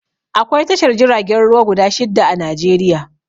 Akwai tashar jiragen ruwa guda shidda a Najeriya